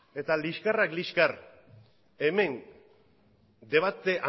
eta liskarrak liskar hemen debate